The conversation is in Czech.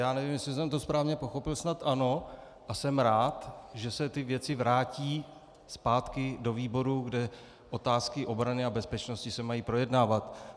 Já nevím, jestli jsem to správně pochopil, snad ano, a jsem rád, že se ty věci vrátí zpátky do výboru, kde otázky obrany a bezpečnosti se mají projednávat.